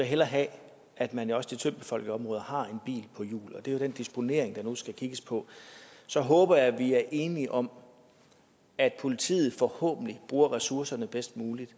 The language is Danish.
hellere have at man også i de tyndt befolkede områder har en bil på hjul og det er jo den disponering der nu skal kigges på så håber jeg vi er enige om at politiet forhåbentlig bruger ressourcerne bedst muligt